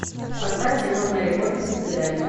поставь кино мэри поппинс до свидания